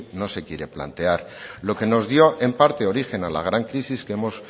no se quiere plantear lo que nos dio en parte origen a la gran crisis que hemos